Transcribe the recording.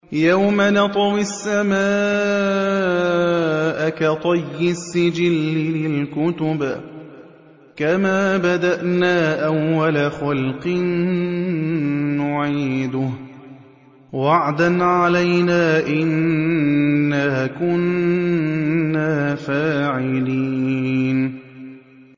يَوْمَ نَطْوِي السَّمَاءَ كَطَيِّ السِّجِلِّ لِلْكُتُبِ ۚ كَمَا بَدَأْنَا أَوَّلَ خَلْقٍ نُّعِيدُهُ ۚ وَعْدًا عَلَيْنَا ۚ إِنَّا كُنَّا فَاعِلِينَ